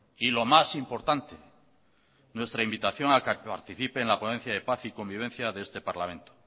y lo más importante nuestra invitación a que participe en la ponencia de paz y convivencia de este parlamento